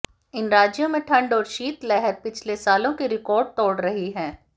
इन राज्यों में ठंड और शीतलहर पिछले सालों के रिकॉर्ड तोड़ रही है